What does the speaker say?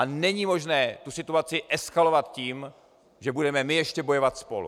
A není možné tu situaci eskalovat tím, že budeme my ještě bojovat spolu.